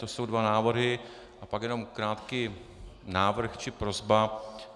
To jsou dva návrhy, a pak jenom krátký návrh či prosba.